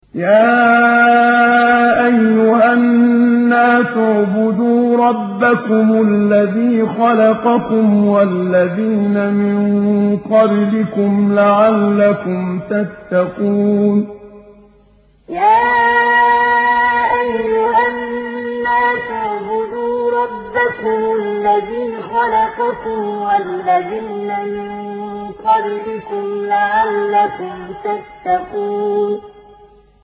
يَا أَيُّهَا النَّاسُ اعْبُدُوا رَبَّكُمُ الَّذِي خَلَقَكُمْ وَالَّذِينَ مِن قَبْلِكُمْ لَعَلَّكُمْ تَتَّقُونَ يَا أَيُّهَا النَّاسُ اعْبُدُوا رَبَّكُمُ الَّذِي خَلَقَكُمْ وَالَّذِينَ مِن قَبْلِكُمْ لَعَلَّكُمْ تَتَّقُونَ